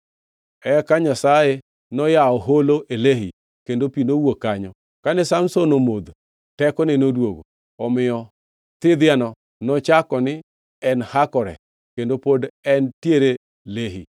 Eka Nyasaye noyawo holo e Lehi, kendo pi nowuok kanyo. Kane Samson omodhe, tekone noduogo. Omiyo thidhiano nochako ni En Hakore, kendo pod entiere Lehi.